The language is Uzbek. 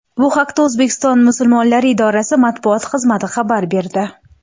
Bu haqda O‘zbekiston musulmonlari idorasi matbuot xizmati xabar berdi.